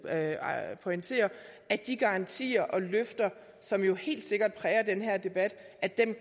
pointerer at de garantier og løfter som jo helt sikkert præger den her debat